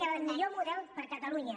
era el millor model per a catalunya